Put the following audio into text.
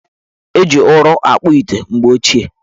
Eji ụrọ akpụ ite mgbe ochie.